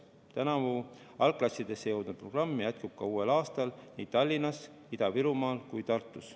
Tänavu algklassidesse jõudnud programm jätkub uuel aastal nii Tallinnas, Ida-Virumaal kui ka Tartus.